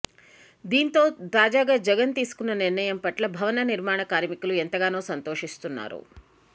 దీంతో తాజాగా జగన్ తీసుకున్న నిర్ణయం పట్ల భవన నిర్మాణ కార్మికులు ఎంతగానో సంతోషిస్తున్నారు